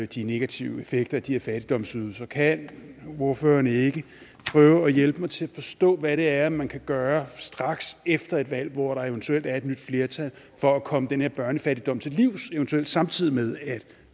de negative effekter af de her fattigdomsydelser kan ordføreren ikke prøve at hjælpe mig til at forstå hvad det er man kan gøre straks efter et valg hvor der eventuelt er et nyt flertal for at komme den her børnefattigdom til livs eventuelt samtidig med at